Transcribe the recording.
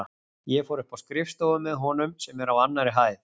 Ég fór upp á skrifstofu með honum sem er á annarri hæð.